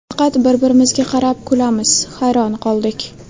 Faqat bir-birimizga qarab kulamiz, hayron qoldik.